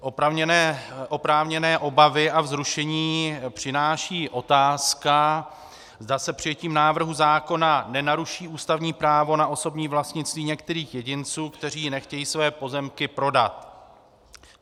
Oprávněné obavy a vzrušení přináší otázka, zda se přijetím návrhu zákona nenaruší ústavní právo na osobní vlastnictví některých jedinců, kteří nechtějí své pozemky prodat.